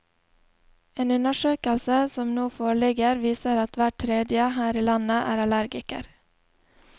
En undersøkelse som nå foreligger viser at hver tredje her i landet er allergiker.